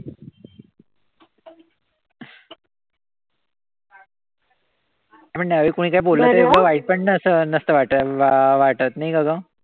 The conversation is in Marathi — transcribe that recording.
आपण कोणी काई बोललं तरी वाईट पण असं नसत वा वाटत नाई का ग?